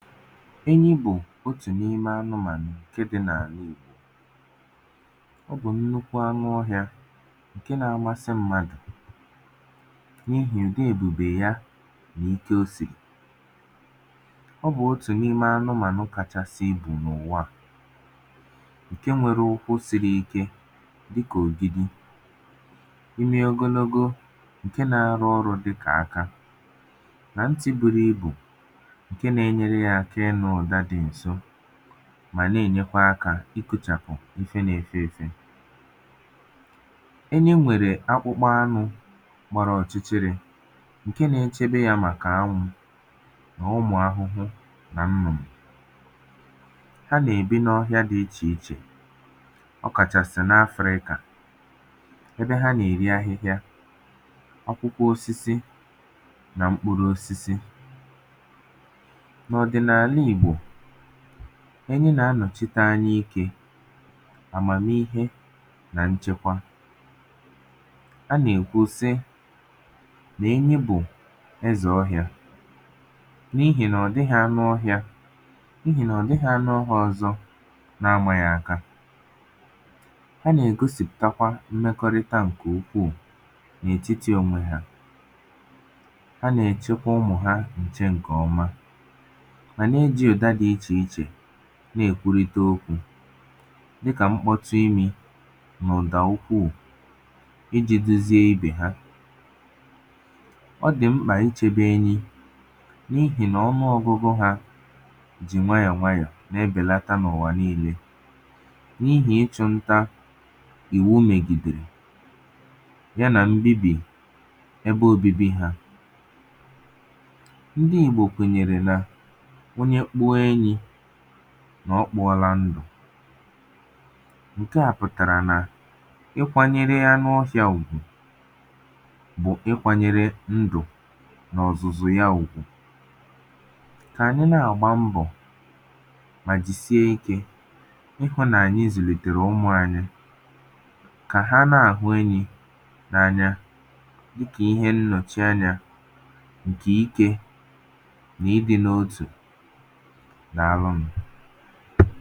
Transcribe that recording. enyi bụ̀ otù n’ime anụmànụ̀ ǹkẹ dị nà àna ìgbò ọ bụ̀ nnukwu anụ ohịā ǹke na amasị mmadù n’ihi ùdị èbùbè ya nà ike o sìrì ọ bụ̀ otù n’ime anụmànụ kachasi ibù n’uwà a ǹkẹ nwẹrẹ ụkwụ siri ike dị kà ògidi imi ogologo ǹkẹ na arụ orụ̄ dị kà aka nà ntī buru ibù ǹke na enyere yā aka ịnụ̄ ụ̀da dị ǹso mà nà enyekwa akā ikochàpù ife na efe efe enyi nwẹ̀rẹ̀ akpụkpọ anụ̄ gbara ọ̀chịchị̇rị ǹke na echedo yā màkà anwụ nà ụmụ̀ ahụhụ nà nnụ̀nụ̀ ha nà èbi n’ọhịa dị ichè ichè ọ kàchàsị n’Afrịkà ẹbẹ ha na erì ahịhịa akwụkwọ osisi na mkpụrụ osisi nà ọdịnaana ìgbò enyi nà anọ̀chite anya ikē àmàmihe nà ǹchẹkwa a nà èkwu si nà enyi bụ̀ ẹzẹ ọhịā n’ihì nà ọ̀ dịghị anụ ohịā n’ihì nà ọ̀ dịghị anụ ohịā ọzọ na amà yā aka ha nà ègosìpùtakwa mmẹkọrịta ǹkẹ ukwù n’ètiti onwe ha ha nà ẹ̀chẹkwa ụmụ̀ ha ǹchẹ ǹkẹ̀ ọma mà na ejị̄ ụ̀da dị ichè ichè nà èkwurite okwū dị kà mkpọtụ imī mà ụ̀dà ukwù ijē dozie ibè ha ọ dị̀ mkpà ị chẹbẹ enyị n’ihì nà ọnụogụgụ hā jị̀ nwayọ̀ nwayọ e bèlata n’ùwà nille n’ihì ịchụ̄ nta ìwu mègìderè ya nà mbibì ẹbẹ obibi hā ndị ìgbò kwènyèrè nà onye kpụọ enyī nà ọ kpụọla ndụ̀ ǹkẹ̀ a pụ̀tàrà nà ị kwanyere anụ ofịà ùgwù bụ̀ ị kwānyere ndụ̀ nà ọ̀zụ̀zụ̀ ya ùgwù kà ànyị nà àgba mbọ̀ mà jìsie ikē ị hụ̄ nà ànyị zùnìtèrè ụmụ̄ anyị kà ha nà àhụ enyī anya ikè ihe nnọ̀chị anyā ǹkẹ̀ ikē nà ịdị̄ n’otù nà àrụ m